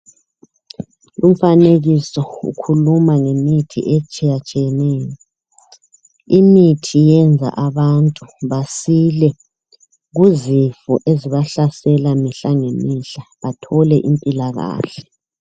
Umfanekiso ukhuluma ngemithi etshiyatshiyeneyo imithi iyenza bantu basile kuzifo ezibahlasela mihla ngemihla bathole impilakahle,